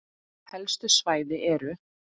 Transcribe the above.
Helstu svæði eru